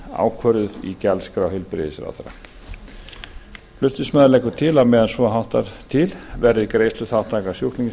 ákvörðuð í gjaldskrá heilbrigðisráðherra flutningsmaður leggur til að á meðan svo háttar verði greiðsluþátttaka sjúklings